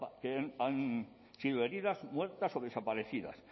que han sido heridas muertas o desaparecidas